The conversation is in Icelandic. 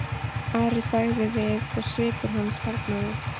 Ari þagði við og svipur hans harðnaði.